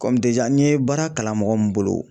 n ye baara kalan mɔgɔ min bolo